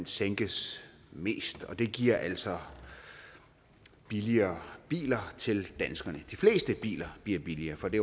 sænkes mest og det giver altså billigere biler til danskerne de fleste biler bliver billigere for det